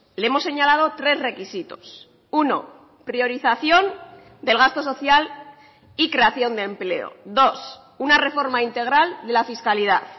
le hemos señalado tres requisitos uno priorización del gasto social y creación de empleo dos una reforma integral de la fiscalidad